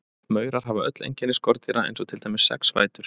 Maurar hafa öll einkenni skordýra eins og til dæmis sex fætur.